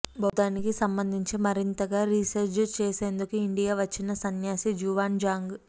బౌద్ధానికి సంబంధించి మరింతగా రీసెర్చ్ చేసేందుకు ఇండియా వచ్చిన సన్యాసి జువాన్ జాంగ్